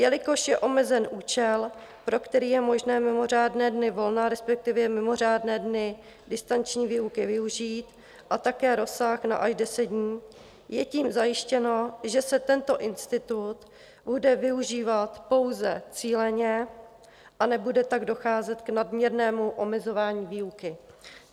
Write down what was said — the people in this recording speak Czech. Jelikož je omezen účel, pro který je možné mimořádné dny volna, respektive mimořádné dny distanční výuky využít, a také rozsah na až deset dní, je tím zajištěno, že se tento institut bude využívat pouze cíleně, a nebude tak docházet k nadměrnému omezování výuky.